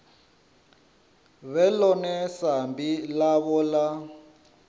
vhe ḽone sambi ḽavho ḽa